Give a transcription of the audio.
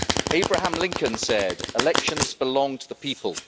Abraham Lincoln said Elections belong to the people.